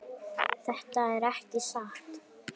Þetta er ekki satt!